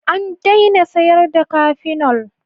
An daina sayarda cafenol.